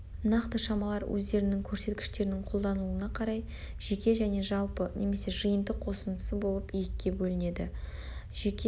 нақты шамалар өздерінің көрсеткіштерінің қолданылуына қарай жеке және жалпы немесе жиынтық қосындысы болып екіге бөлінеді жеке